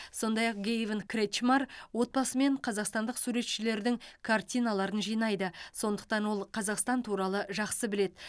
сондай ақ гэйвин кретчмар отбасымен қазақстандық суретшілердің картиналарын жинайды сондықтан ол қазақстан туралы жақсы біледі